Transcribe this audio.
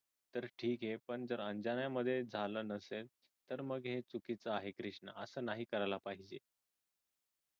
ठीक आहे पण जर अंजाना मध्ये झाल नसेल तर मग हे चुकीच आहे कृष्णा हे नाही करायला पाहिजे.